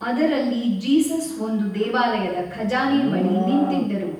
ಅದರಲ್ಲಿ ಜೀಸಸ್ ಒಂದು ದೇವಾಲಯದ ಖಜಾನೆ ಬಳಿ ನಿಂತಿದ್ದರು.